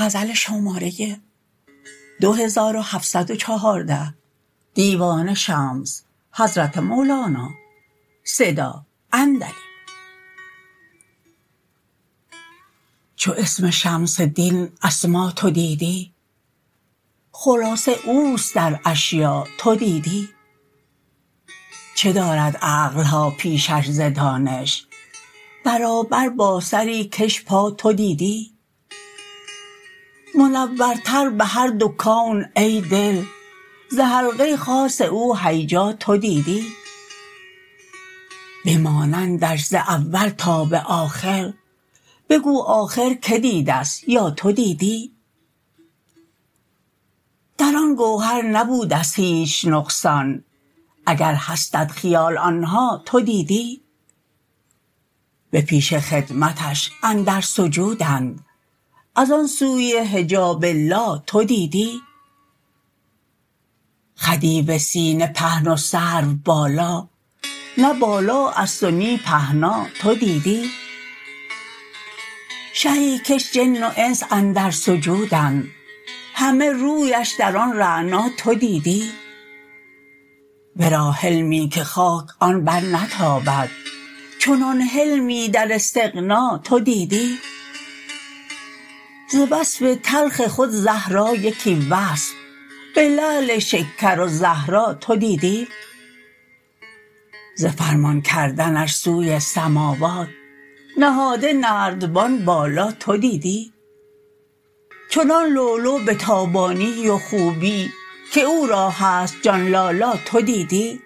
چو اسم شمس دین اسما تو دیدی خلاصه او است در اشیاء تو دیدی چه دارد عقل ها پیشش ز دانش برابر با سری کش پا تو دیدی منورتر به هر دو کون ای دل ز حلقه خاص او هیجا تو دیدی به مانندش ز اول تا به آخر بگو آخر کی دیده ست یا تو دیدی در آن گوهر نبوده ست هیچ نقصان اگر هستت خیال آن ها تو دیدی به پیش خدمتش اندر سجودند از آن سوی حجاب لا تو دیدی خدیو سینه پهن و سروبالا نه بالا است و نی پهنا تو دیدی شهی کش جن و انس اندر سجودند همه رویش در آن رعنا تو دیدی ورا حلمی که خاک آن برنتابد چنان حلمی در استغنا تو دیدی ز وصف تلخ خود زهرا یکی وصف به لعل شکر و زهرا تو دیدی ز فرمان کردنش سوی سماوات نهاده نردبان بالا تو دیدی چنان لؤلؤ به تابانی و خوبی که او را هست جان لالا تو دیدی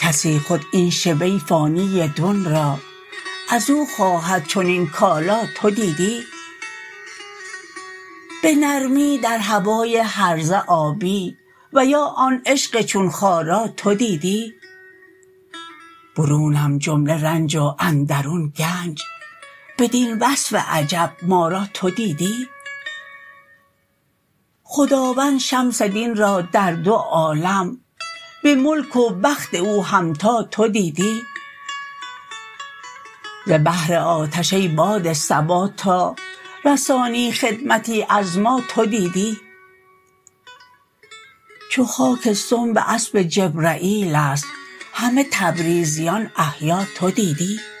کسی خود این شبه فانی دون را از او خواهد چنین کالا تو دیدی به نرمی در هوای هرزه آبی و یا آن عشق چون خارا تو دیدی برونم جمله رنج و اندرون گنج بدین وصف عجب ما را تو دیدی خداوند شمس دین را در دو عالم به ملک و بخت او همتا تو دیدی ز بهر آتش ای باد صبا تا رسانی خدمتی از ما تو دیدی چو خاک سنب اسب جبرییل است همه تبریزیان احیا تو دیدی